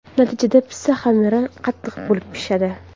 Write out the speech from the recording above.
Natijada pitssa xamiri qattiq bo‘lib pishadi.